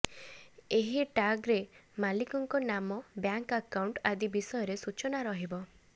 ଏହି ଟାଗରେ ମାଲିକଙ୍କ ନାମ ବ୍ୟାଙ୍କ ଆକାଉଂଟ ଆଦି ବିଷୟରେ ସୂଚନା ରହିବ